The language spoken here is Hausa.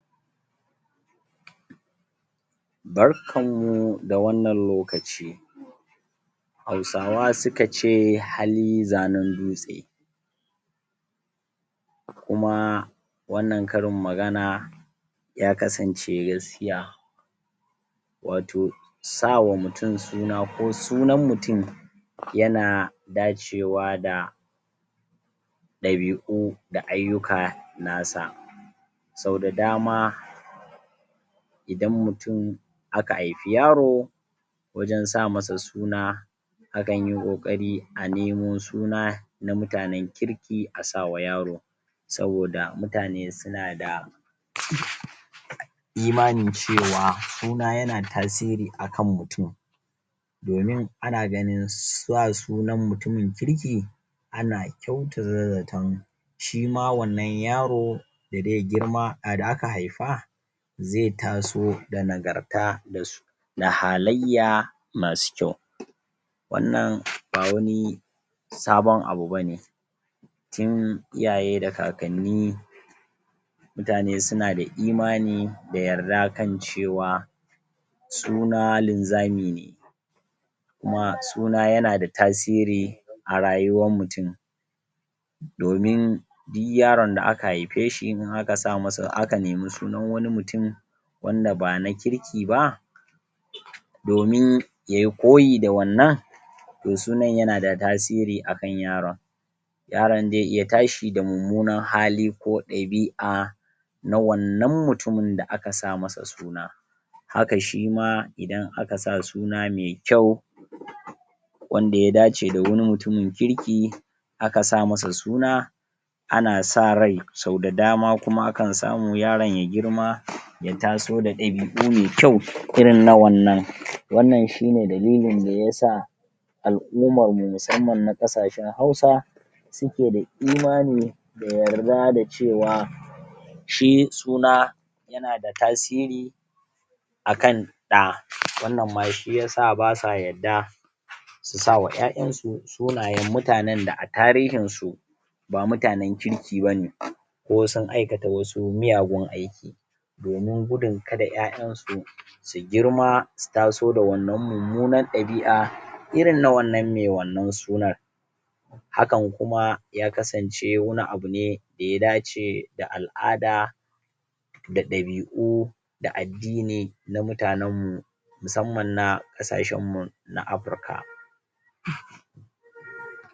barkan mu da wannan lokaci hausawa suka ce hali zanan dutse kuma wannan karin magana ya kasance gaskiya wato sawa mutun suna ko sunan mutun yana dacewa da ɗabi'u da aiyuka nasa sau da dama idan mutun aka aifi yaro wajan sa masa suna akanyi kokari a nemo suna na mutanan kirki a sawa yaro saboda mutane suna da imanin cewa suna yana tasiri akan mutun domin ana ganin sa sunan mutumin kirki ana kyautata zatan shima wanna yaran da aka haifa zai taso da nagarta dasu na halayya masu kyau wannan ba wani sabon abu bane tun iyaye da kakanni mutane suna da imani da yarda kan cewa suna linzami ne kuma suna yana da tasiri a rayuwar mutun domin di yaran da aka haifeshi aka nemi sunan wani mutumi wanda bana kirki ba domin yayi koyi da wannan to sunan yana da tasiri akan yaron yaran zai iya tashi da mummunan hali ko ɗabi'a na wannan mutumun da aka sa masa suna haka shima idan aka sa suna mai kyau wanda ya dace da wani mutumin kirki akasa masa suna ana sa rai sau da dama kuma akan samu yaran ya girma ya taso da ɗabi'u me kyau irin na wannan wannan shine dalilin da yasa al'ummarmu musamman na ƙasashan hausa suke da imani da yarda da cewa shi suna yana da tsiri akan ɗa wannan ma shiyasa basa yadda su sawa ƴa'ƴansu sunayan mutanan da a tarihinsu ba mutanan kirki bane ko sun aikata wasu muyagun aiki domin gudun kada ƴa'ƴansu su girma su taso da wannan mummunar ɗabi'a irin na wannan me wannan sunan hakan kuma ya kasance wani abu ne da ya dace da al'ada da ɗabi'u da addini na mutanan mu musamman na ƙasashanmu na africa